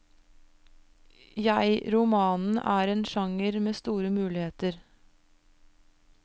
Jeg romanen er en genre med store muligheter.